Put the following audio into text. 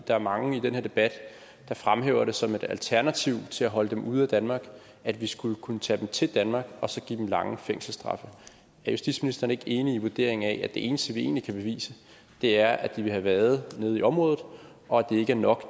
der er mange i den her debat der fremhæver det som et alternativ til at holde dem ude af danmark at vi skulle kunne tage dem til danmark og så give dem lange fængselsstraffe er justitsministeren ikke enig i vurderingen af at det eneste vi egentlig kan bevise er at de vil have været nede i området og at det ikke er nok